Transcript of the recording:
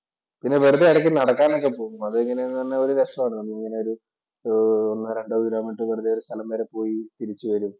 പിന്നെ വെറുതെ ഇടയ്ക്ക് നടക്കാൻ ഒക്കെ പോകും. അതെങ്ങനെയെന്ന് പറഞ്ഞാൽ ഒരു രസമാണ് നമ്മളിങ്ങനെ ഒരു ഒരു ഒന്നോ രണ്ടോ കിലോമീറ്റര്‍ വെറുതെ ഒരു സ്ഥലം വരെ പോയി തിരിച്ചുവരും.